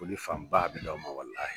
Foli fanba a bɛ di aw ma.